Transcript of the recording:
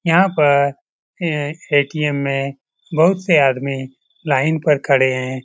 यहाँ पर ए.टी.एम. में बहुत से आदमी लाइन पर खड़े है।